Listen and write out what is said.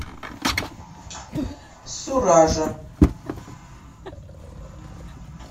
суража